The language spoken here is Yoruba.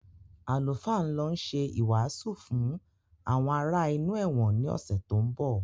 Àlùfáà ń lọ ṣe ìwàásù fún àwọn ará inú ẹ̀wọ̀n ni ọ̀sẹ̀ tó ń bọ̀